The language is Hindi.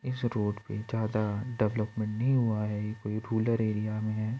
इस रोड पे ज्यादा डेवलपमेंट नहीं हुआ है ये रुलर एरिया में है।